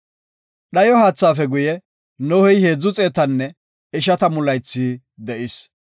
Dhayo haathaafe guye, Nohey heedzu xeetanne ishatamu laythi de7is.